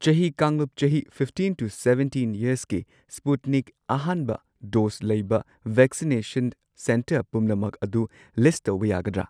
ꯆꯍꯤ ꯀꯥꯡꯂꯨꯞ ꯆꯍꯤ ꯐꯤꯐꯇꯤꯟ ꯇꯨ ꯁꯚꯦꯟꯇꯤꯟ ꯌꯔꯁꯀꯤ ꯁ꯭ꯄꯨꯠꯅꯤꯛ ꯑꯍꯥꯟꯕ ꯗꯣꯁ ꯂꯩꯕ ꯚꯦꯛꯁꯤꯅꯦꯁꯟ ꯁꯦꯟꯇꯔ ꯄꯨꯝꯅꯃꯛ ꯑꯗꯨ ꯂꯤꯁꯠ ꯇꯧꯕ ꯌꯥꯒꯗ꯭ꯔꯥ?